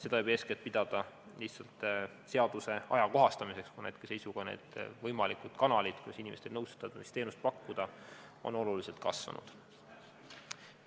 Seda võib eeskätt pidada lihtsalt seaduse ajakohastamiseks, kuna hetkeseisuga on nende võimalike kanalite arv, mille abil inimestele nõustamisteenust pakkuda, oluliselt kasvanud.